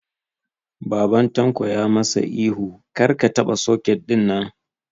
Baban Tanko ya ma sa ihu 'Kar ka taɓa soket ɗin'!